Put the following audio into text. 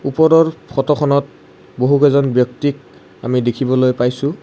ওপৰৰ ফটোখনত বহু কেইজন ব্যক্তিক আমি দেখিবলৈ পাইছোঁ।